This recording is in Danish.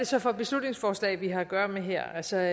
så for et beslutningsforslag vi har at gøre med her altså